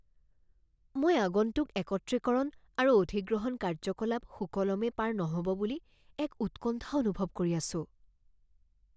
মই আগন্তুক একত্ৰীকৰণ আৰু অধিগ্ৰহণ কাৰ্যকলাপ সুকলমে পাৰ নহ'ব বুলি এক উৎকণ্ঠা অনুভৱ কৰি আছোঁ।